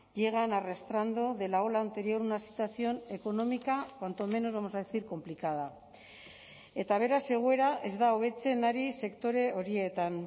llegan arrastrando de la ola anterior una situación económica cuanto menos vamos a decir complicada eta beraz egoera ez da hobetzen ari sektore horietan